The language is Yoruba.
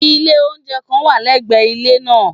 Ilé oúnjẹ kan wà lẹ́gbẹ̀ẹ́ ilé nàà